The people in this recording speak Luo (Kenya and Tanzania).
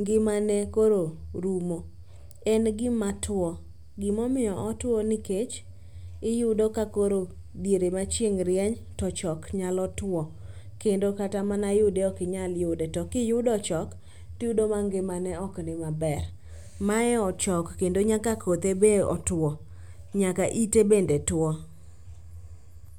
ngimane koro rumo, en gima two. Gimomiyo otwo nikech itudo ka koro diere ma chieng' rieny to ochok nyalo two kendo kata mana yude okinyal yude to kiyudo ochok tiyudo ma ngimane oknimaber. Mae ochok kendo nyaka kothe be otwo nyaka ite bende two.